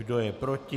Kdo je proti?